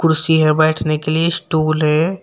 कुर्सी है बैठने के लिए स्टूल है।